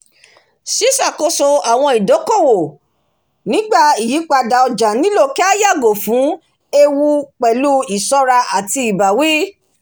ṣíṣàkóso àwọn ìdókòwò nígbà ìyípadà ọjà nílò kí à yago fun eewu pẹ̀lú iṣọ́ra àti ìbáwí